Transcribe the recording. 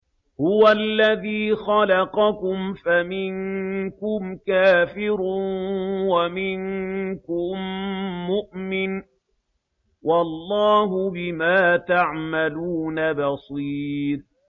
هُوَ الَّذِي خَلَقَكُمْ فَمِنكُمْ كَافِرٌ وَمِنكُم مُّؤْمِنٌ ۚ وَاللَّهُ بِمَا تَعْمَلُونَ بَصِيرٌ